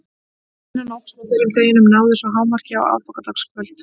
Spennan óx með hverjum deginum en náði svo hámarki á aðfangadagskvöld.